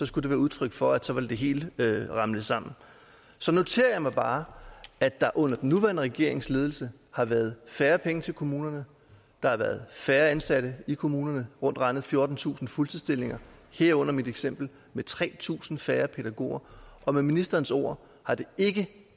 skulle være udtryk for at det hele vil ramle sammen så noterer jeg mig bare at der under den nuværende regerings ledelse har været færre penge til kommunerne der har været færre ansatte i kommunerne rundt regnet fjortentusind fuldtidsstillinger herunder mit eksempel med tre tusind færre pædagoger og med ministerens ord har det ikke